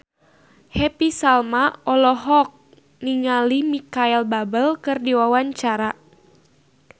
Happy Salma olohok ningali Micheal Bubble keur diwawancara